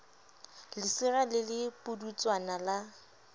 lesira le le pudutswana la